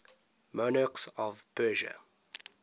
monarchs of persia